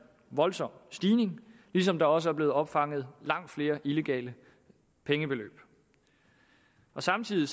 voldsom stigning ligesom der også er blevet opfanget langt flere illegale pengebeløb samtidig